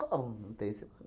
Como não tem? Você